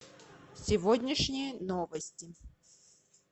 сегодняшние новости